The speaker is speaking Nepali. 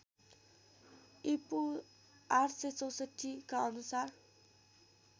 ईपू ८६४ का अनुसार